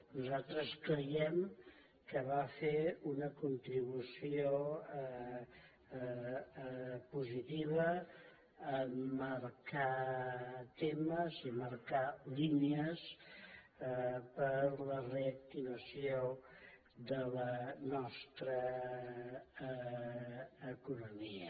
nosaltres creiem que va fer una contribució positiva a marcar temes i marcar línies per a la reactivació de la nostra economia